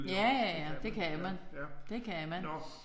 Ja ja ja det kan man. Det kan man